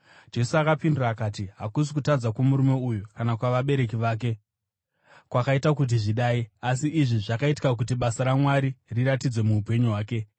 Jesu akapindura akati, “Hakusi kutadza kwomurume uyu kana kwavabereki vake kwakaita kuti zvidai, asi izvi zvakaitika kuti basa raMwari riratidzwe muupenyu hwake.